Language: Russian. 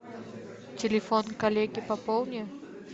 телефон коллеги пополни